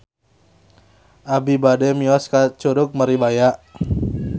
Abi bade mios ka Curug Maribaya